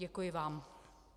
Děkuji vám.